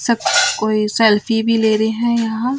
सब कोई सेल्फी भी ले रहे हैं यहां--